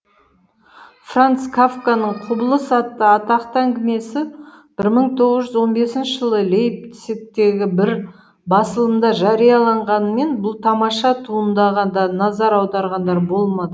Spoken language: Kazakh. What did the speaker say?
франц кафканың құбылыс атты атақты әңгімесі бір мың тоғыз жүз он бесінші жылы лейпцигтегі бір басылымда жарияланғанымен бұл тамаша туындыға да назар аударғандар болмады